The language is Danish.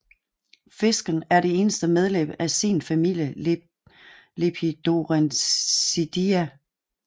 Fisken er det eneste medlem af sin familie Lepidosirenidae